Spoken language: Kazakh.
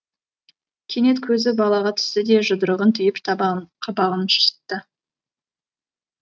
кенет көзі балаға түсті де жұдырығын түйіп қабағын шытты